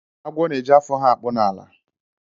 Agwọ na-eji afọ ha akpụ n'ala.